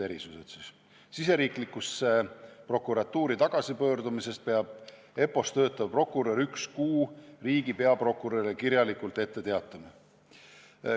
Riigisisesesse prokuratuuri tagasipöördumisest peab EPPO-s töötav prokurör üks kuu riigi peaprokurörile kirjalikult ette teatama.